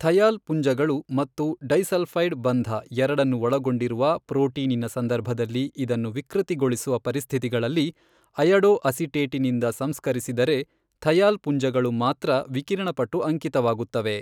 Thiol ಪುಂಜಗಳು ಮತ್ತು disulphide ಬಂಧ ಎರಡನ್ನು ಒಳಗೊಂಡಿರುವ ಪ್ರೋಟೀನಿನ ಸಂದರ್ಭದಲ್ಲಿ ಇದನ್ನು ವಿಕೃತಿಗೊಳಿಸುವ ಪರಿಸ್ಥಿತಿಗಳಲ್ಲಿ ಅಯಡೊಅಸಿಟೇಟಿನಿಂದ ಸಂಸ್ಕರಿಸಿದರೆ ಥಯಾಲ್ ಪುಂಜಗಳು ಮಾತ್ರ ವಿಕಿರಣಪಟು ಅಂಕಿತವಾಗುತ್ತವೆ.